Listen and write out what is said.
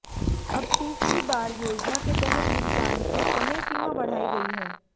अब तीसरी बार योजना के तहत भुगतान की समयसीमा बढ़ाई गई है